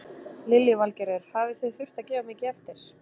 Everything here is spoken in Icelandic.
Lillý Valgerður: Hafi þið þurft að gefa mikið eftir?